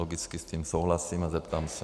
Logicky s tím souhlasím a zeptám se.